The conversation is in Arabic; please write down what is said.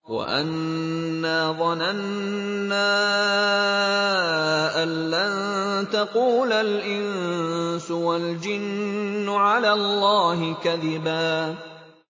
وَأَنَّا ظَنَنَّا أَن لَّن تَقُولَ الْإِنسُ وَالْجِنُّ عَلَى اللَّهِ كَذِبًا